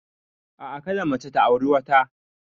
A'a, kada mace ta auri wata.